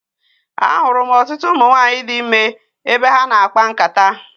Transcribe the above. A hụrụ m ọtụtụ ụmụ nwaanyị di ime ebe ha na-akpa nkata.